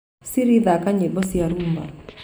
siri thaaka nyĩmbo ciakwa cia rhumba